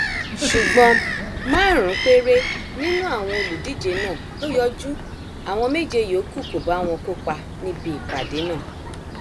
ṣùgbọn márùnún péré nínú àwọn olùdíje náà ló yọjú àwọn méje yòókù kó bá wọn kópa níbi ìpàdé náà